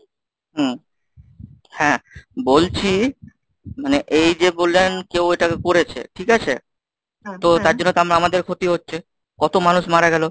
হম, হ্যাঁ, বলছি মানে এই যে বললেন কেউ এটাকে করেছে ঠিক আছে? তো তার জন্য তো আমাদের ক্ষতি হচ্ছে কত মানুষ মারা গেল?